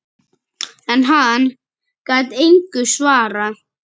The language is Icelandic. En hann gat engu svarað.